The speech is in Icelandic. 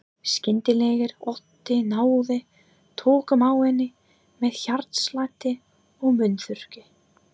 Skyndilegur ótti náði tökum á henni með hjartslætti og munnþurrki.